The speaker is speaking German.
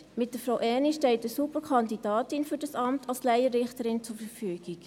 Mit Frau Erni steht eine Superkandidatin für das Amt als Laienrichterin zur Verfügung.